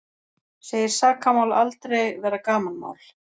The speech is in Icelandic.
Segir sakamál aldrei vera gamanmál